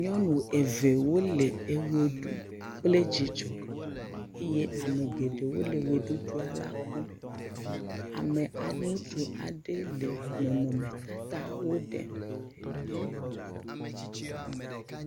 nyɔnu eve wole ɣeɖu kple dzidzɔ eye ame geɖewo le ɣeɖuɖuala kpɔm ame ŋutsu aɖɛ le nɔnɔme tatawo ɖe